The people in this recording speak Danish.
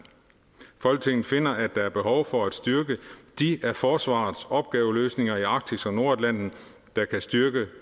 folketinget finder at der er behov for at styrke de af forsvarets opgaveløsninger i arktis og nordatlanten der kan styrke